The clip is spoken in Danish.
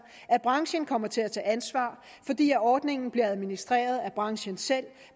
at branchen kommer til at tage ansvar fordi ordningen bliver administreret af branchen selv